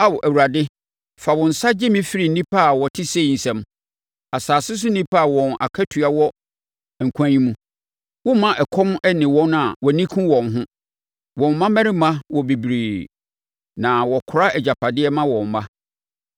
Ao Awurade fa wo nsa gye me firi nnipa a wɔte sei nsam asase so nnipa a wɔn akatua wɔ nkwa yi mu. Womma ɛkɔm nne wɔn a wʼani ku wɔn ho; wɔn mmammarima wɔ bebree, na wɔkora agyapadeɛ ma wɔn mma.